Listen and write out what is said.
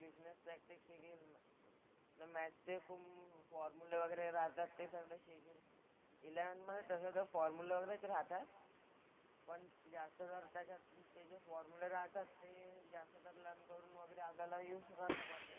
Maths चे खूप फॉर्म्युले वगैरे राहतात ते सगळं शिकीन. इलेव्हन्थमधे तसं तर फॉर्म्युला वगैरेच राहतात पण त्याचबरोबर त्याच्यात ते जे फॉर्म्युले राहतात ते जास्त आपल्याला युज राहतो पण.